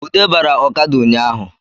Ude bara ọkada ụnyahụ